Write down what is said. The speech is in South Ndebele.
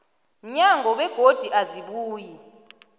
mnyango begodu azibuyi